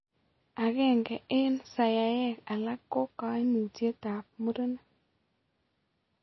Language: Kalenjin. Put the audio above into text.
Aeng'e eng' saiaiek alak ko kaimutiet ab mureenik